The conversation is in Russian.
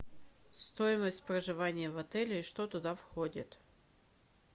стоимость проживания в отеле и что туда входит